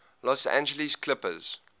los angeles clippers